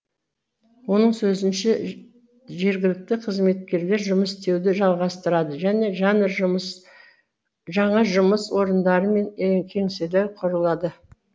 оның сөзінше жергілікті қызметкерлер жұмыс істеуді жалғастырады және жаңа жұмыс орындары мен кеңселер құрылады